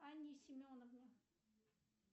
анне семеновне